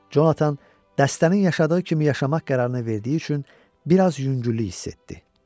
Conatan dəstənin yaşadığı kimi yaşamaq qərarını verdiyi üçün bir az yüngüllük hiss etdi.